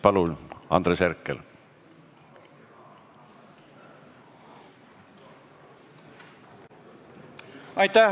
Palun, Andres Herkel!